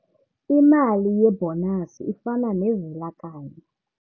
Imali yebhonasi ifana nevela-kanye.